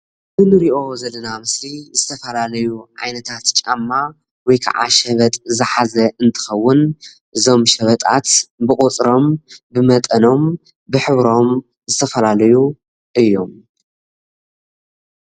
እዚ እንሪኦ ዘለና ምስሊ ዝተፈላለዩ ዓይነታት ጫማ ወይ ከዓ ሸበጥ ዝሓዘ እንትከውን እዞም ሸበጣት ብቁፅሮም ብመጠኖም ብሕብሮም ዝተፈላለዩ እዮም፡፡